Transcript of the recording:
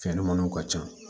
Fɛnɲamaninw ka ca